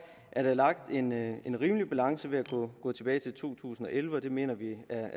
er der lagt en en rimelig balance ved at gå tilbage til to tusind og elleve og det mener vi er